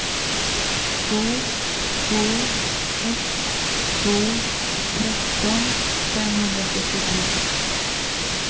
två två ett två tretton femhundrasjuttiotre